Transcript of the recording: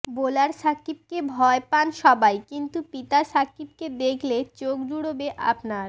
bowler সাকিবকে ভয় পান সবাই কিন্তু পিতা সাকিবকে দেখলে চোখ জুড়োবে আপনার